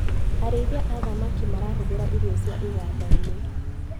Arĩithia a thamaki marahũthĩra irio cia igandainĩ.